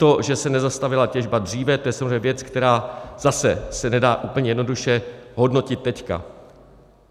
To, že se nezastavila těžba dříve, to je samozřejmě věc, která zase se nedá úplně jednoduše hodnotit teď.